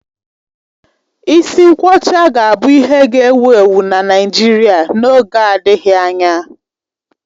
Isi nkwọcha ga-abụ ihe ga-ewu ewu na Naịjirịa n'oge adịghị anya.